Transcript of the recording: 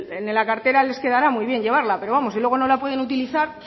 en la cartera les quedará muy bien llevarla pero vamos si luego no la pueden utilizar